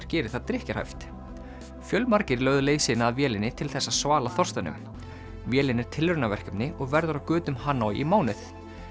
gerir það drykkjarhæft fjölmargir lögðu leið sína að vélinni til þess að svala þorstanum vélin er tilraunaverkefni og verður á götum Hanoi í mánuð